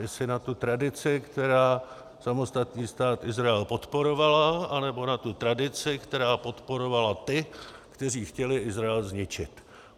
Jestli na tu tradici, která samostatný Stát Izrael podporovala, anebo na tu tradici, která podporovala ty, kteří chtěli Izrael zničit.